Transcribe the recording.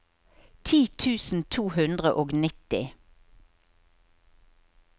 ti tusen to hundre og nitti